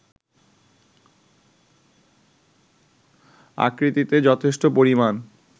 আকৃতিতে যথেষ্ট পরিমাণ